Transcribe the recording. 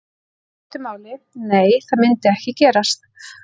Í stuttu máli: Nei það myndi ekki gerast.